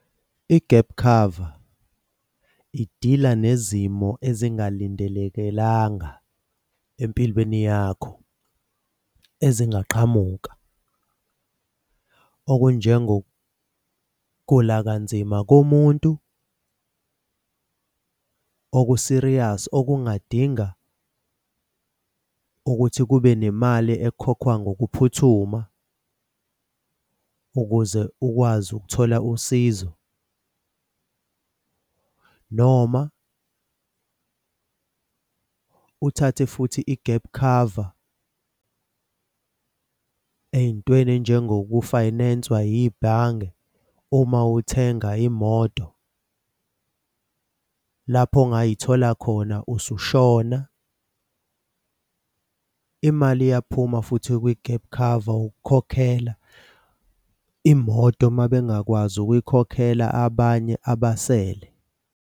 I-gap cover idila nezimo ezingalindelekelanga empilweni yakho ezingaqhamuka. Okunjengokugula kanzima komuntu oku-serious okungadinga ukuthi kube nemali ekhokhwa ngokuphuthuma ukuze ukwazi ukuthola usizo, noma uthathe futhi i-gap cover ey'ntweni ey'njengoku-finance-wa yibhange uma uthenga imoto lapho ongay'thola khona usushona. Imali iyaphuma futhi kwi-gap cover ukukhokhela imoto uma bengakwazi ukuyikhokhela abanye abasele.